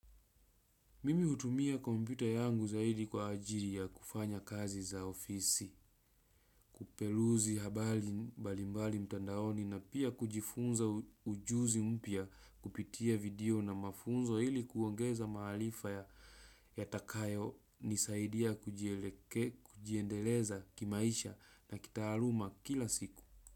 Mimi hutumia kompyuta yangu zaidi kwa ajiri ya kufanya kazi za ofisi, kupeluzi habali mbali mbali mtandaoni na pia kujifunza ujuzi mpya kupitia video na mafunzo ili kuongeza mahalifa ya takayo nisaidia kujiendeleza kimaisha na kitaaluma kila siku.